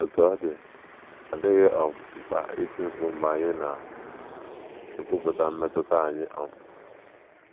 Otú ọ dị, ọ dịghị um mkpa iti mkpu mgbe anyị na - ekwupụta mmetụta anyị um.